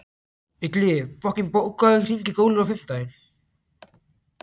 Illugi, bókaðu hring í golf á fimmtudaginn.